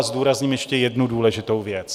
A zdůrazním ještě jednu důležitou věc.